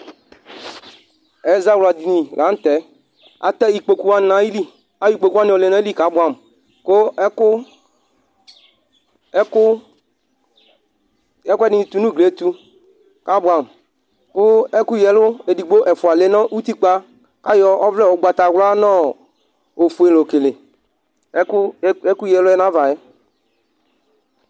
Ɛzawla dini la n'tɛ Atɛ ikpoku wani nayilɩ Ay'ikpoku wani ɔlɛ n'ayili k'abuamu, ku ɛku ɛku ɛkuɛdi ni tu n'uglie tu k'abuamu, ku eku yǝ'lu edigbo ɛfua lɛ nu utikpǝ, k'ayɔ ɔʋlɛ ugbatawla n'ɔɔ ofue l'okele eku eku yɛluɛ n'avaɛ